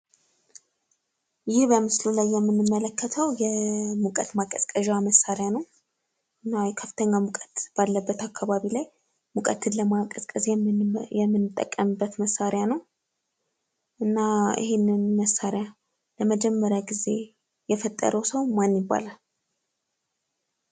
ይህ በምስሉ ላይ የምንመለከተው የሙቀት ማቀዝቀዣ መሳሪያ ነው። ከፍተኛ ሙቀት ባለበት አካባቢ ላይ ሙቀትን ለማቀዝቀዝ የምንጠቀምበት መሣሪያ ነው። እና ይህንን መሣሪያ ለመጀመሪያ ጊዜ የፈጠረው ሰው ማን ይባላል።